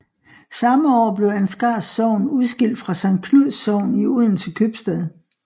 Samme år blev Ansgars Sogn udskilt fra Sankt Knuds Sogn i Odense Købstad